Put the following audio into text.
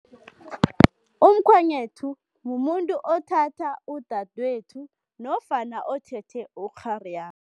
Umkhwenyethu mumuntu othatha udadwethu nofana othethe ukghari